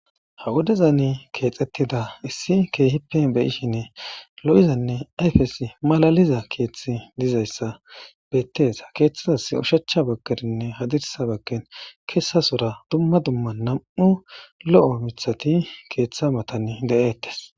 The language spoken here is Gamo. Ha wudeza ne keexxettida issi keehippen beyishinne lo'izanne ayfesi malaliza keeththi dizayssa beettes ha keeththidas ushachcha bagkerinne hadirsa bakken keesasora dumma dumma nam'u lo'o mithati keeththa matan de'ettes